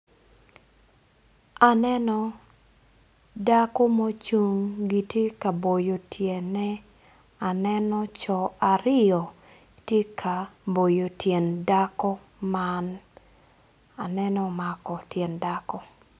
Aneno dako mucing kitye ka boyo tyene aneno co aryo gitye ka boyo tyen dako man aneno omako tyen dako.